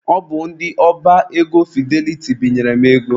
Ọ bụ ndị ọba ego Fideliti binyere m ego.